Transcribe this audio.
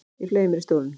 Ég fleygi mér í stólinn.